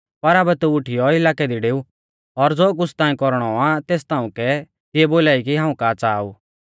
पर आबै तू उठीयौ इलाकै दी डेऊ और ज़ो कुछ़ ताऐं कौरणौ आ तेस ताउंकै तिऐ बोलाई कि हाऊं का च़ाहा ऊ